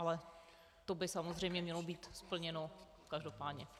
Ale to by samozřejmě mělo být splněno každopádně.